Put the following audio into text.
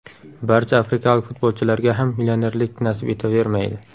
Barcha afrikalik futbolchilarga ham millionerlik nasib etavermaydi.